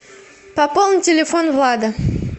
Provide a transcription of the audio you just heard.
пополни телефон влада